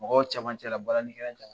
Mɔgɔw cɛman cɛ balani